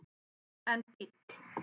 en bíll